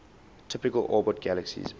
typically orbit galaxies